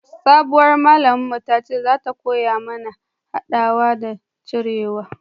sabuwar malamin mu ya ce za ta koya mana hadawa da cirewa